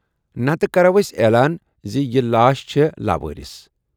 نَتہٕ کَرو ٲسۍ اعلان زِ یہِ لاش چھے لاوٲرِث۔